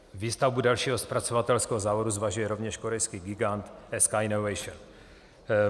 Výstavbu dalšího zpracovatelského závodu zvažuje rovněž korejský gigant SK Innovation.